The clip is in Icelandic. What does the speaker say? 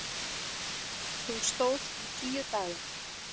Hún stóð í tíu daga.